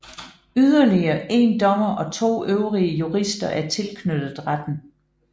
Yderligere 1 dommer og 2 øvrige jurister er tilknyttet retten